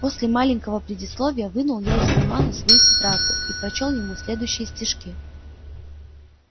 после маленького предисловия вынул я из кармана свою тетрадку и прочёл ему следующие стишки